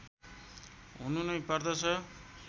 हुनु नै पर्दछ